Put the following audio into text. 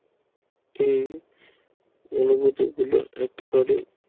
এই অনুভূতি গুলো একেবারে